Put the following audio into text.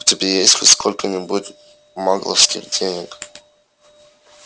у тебя есть хоть сколько-нибудь магловских денег